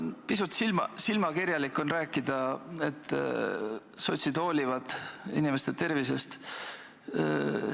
Pisut silmakirjalik on rääkida, et sotsid hoolivad inimeste tervisest.